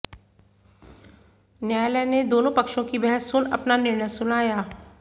न्यायालय ने दोनों पक्षों की बहस सुन अपना निर्णय सुनाया